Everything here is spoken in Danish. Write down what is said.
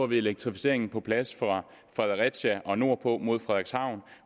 vi elektrificeringen på plads fra fredericia og nordpå mod frederikshavn